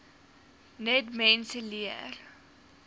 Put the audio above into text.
net mense leer